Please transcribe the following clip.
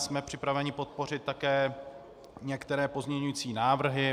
Jsme připraveni podpořit také některé pozměňující návrhy.